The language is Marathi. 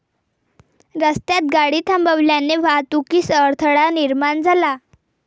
रस्त्यात गाडी थांबवल्याने वाहतुकीस अडथळा निर्माण झाला.